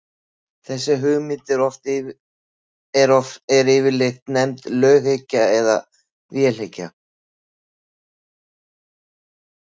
þessi hugmynd er yfirleitt nefnd löghyggja eða vélhyggja